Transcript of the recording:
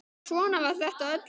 Svona var þetta öll jól.